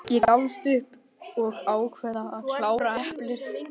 Ég gafst upp og ákvað að klára eplið.